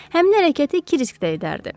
Həmin hərəkəti Krisk də edərdi.